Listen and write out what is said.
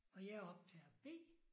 Og jeg er optager B